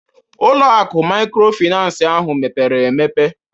ụlọ akụ maykrofinans ahụ mepere emepe